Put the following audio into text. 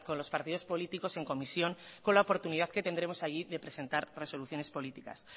los partidos políticos en comisión con la oportunidad que tendremos allí de presentar resoluciones políticas